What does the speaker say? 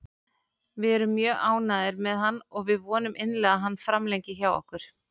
Við erum mjög ánægðir með hann og við vonum innilega að hann framlengi hjá okkur.